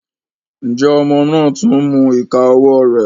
Njẹ ọmọ náà tún n mú ìká ọwọ rẹ?